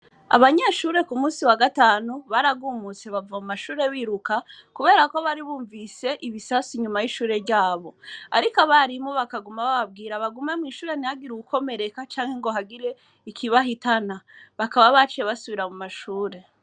Abanyeshure ku musi wa gatanu baragumutse bava mu mashure biruka, kubera ko baribumvise ibisasu nyuma y'ishure ryabo, ariko abarimu bakaguma bababwira bagume mw'ishure ntihagire uwukomereka canke ngo hagire ikibahitana bakaba baciye basubira mu mashure.